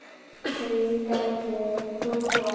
Því gæti ég trúað